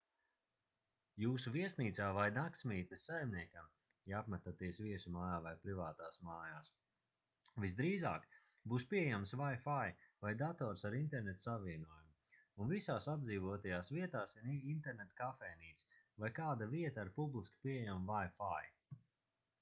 jūsu viesnīcā vai naktsmītnes saimniekam ja apmetaties viesu mājā vai privātās mājās visdrīzāk būs pieejams wifi vai dators ar interneta savienojumu un visās apdzīvotajās vietās ir interneta kafejnīca vai kāda vieta ar publiski pieejamu wifi